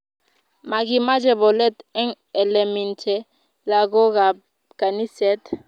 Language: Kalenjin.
Makimache polet en elemiten lakoka ab kaniset